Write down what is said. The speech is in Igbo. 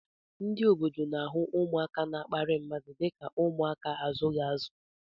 Ndị obodo n'ahụ ụmụaka na-akparị mmadụ dịka ụmụaka a na-azughị azu